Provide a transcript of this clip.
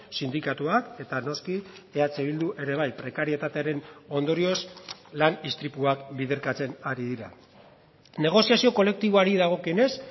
sindikatuak eta noski eh bildu ere bai prekarietatearen ondorioz lan istripuak biderkatzen ari dira negoziazio kolektiboari dagokionez